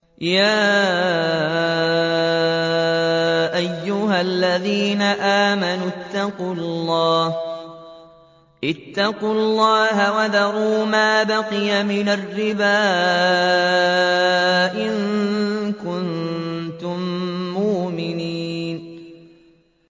يَا أَيُّهَا الَّذِينَ آمَنُوا اتَّقُوا اللَّهَ وَذَرُوا مَا بَقِيَ مِنَ الرِّبَا إِن كُنتُم مُّؤْمِنِينَ